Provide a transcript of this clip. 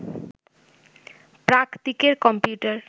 প্রাকদিকের computer